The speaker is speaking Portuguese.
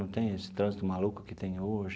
Não tem esse trânsito maluco que tem hoje.